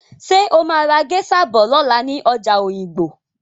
Ṣé o máa ra géṣa bọ̀ lọ́la ní ọjà òyìngbò?